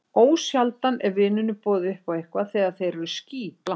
Ósjaldan er vinunum boðið upp á eitthvað þegar þeir eru skítblankir.